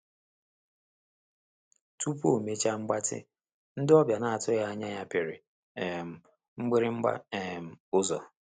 Tupu omecha mgbatị, ndị ọbịa na-otughi anya ya piri um mgbirigba um ụ́zọ̀.